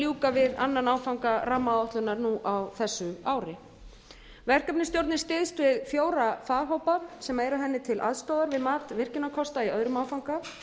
ljúka við annan áfanga rammaáætlunar nú á þessu ári verkefnisstjórnin styðst við fjóra faghópa sem eru henni til aðstoðar við mat virkjunarkosta í öðrum áfanga